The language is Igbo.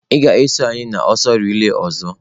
Ị ga-eso anyị n'ọsọ reila ọzọ.